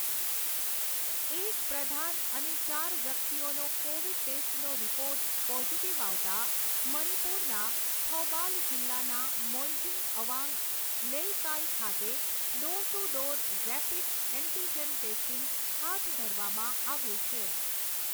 એક પ્રધાન અને ચાર વ્યક્તિઓનો કોવિડ ટેસ્ટનો રિપોર્ટ પોઝિટીવ આવતાં મણિપુરના થૌબાલ જિલ્લાના મોઇજિંગ અવાંગ લેઇકાઈ ખાતે door to door rapid antigen testing હાથ ધરવામાં આવ્યું છે.